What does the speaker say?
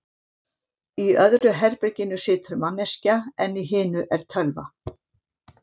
Í öðru herberginu situr manneskja, en í hinu er tölva.